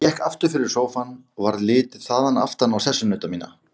Ég gekk aftur fyrir sófann og varð litið þaðan aftan á sessunauta mína.